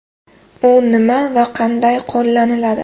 U nima va qanday qo‘llaniladi?.